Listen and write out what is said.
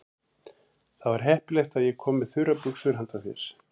Það var heppilegt að ég kom með þurrar buxur handa þér.